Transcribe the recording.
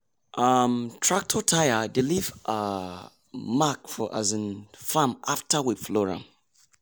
um tractor tyre dey leave um mark for um farm after we plough am.